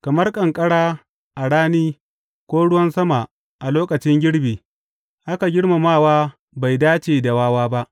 Kamar ƙanƙara a rani ko ruwan sama a lokacin girbi, haka girmamawa bai dace da wawa ba.